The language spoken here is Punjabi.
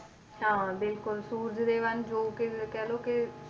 ਹਾਂ ਬਿਲਕੁਲ ਸੂਰਜ ਜੋ ਕਿ ਕਹਿ ਲਓ ਕਿ